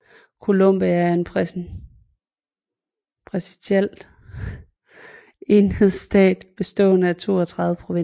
Colombia er en præsidentiel enhedsstat bestående af 32 provinser